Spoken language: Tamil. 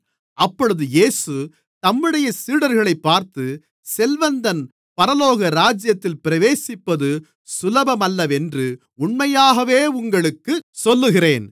அப்பொழுது இயேசு தம்முடைய சீடர்களைப் பார்த்து செல்வந்தன் பரலோகராஜ்யத்தில் பிரவேசிப்பது சுலபமல்லவென்று உண்மையாகவே உங்களுக்குச் சொல்லுகிறேன்